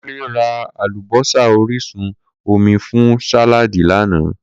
Kunle ra alubosa orisun omi fun sàláàdì lana.